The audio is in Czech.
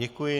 Děkuji.